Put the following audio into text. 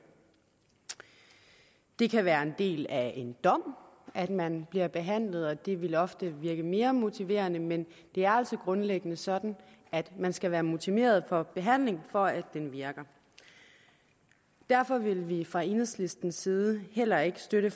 det kan være en del af en dom at man bliver behandlet og det vil ofte virke mere motiverende men det er altså grundlæggende sådan at man skal være motiveret for behandling for at den virker derfor vil vi fra enhedslistens side heller ikke støtte